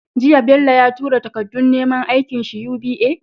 Jiya Bello ya tura takadun neman aikin shi UBA?